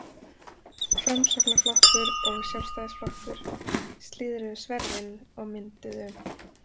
Framsóknarflokkur og Sjálfstæðisflokkur slíðruðu sverðin og mynduðu